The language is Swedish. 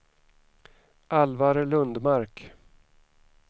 Alvar Lundmark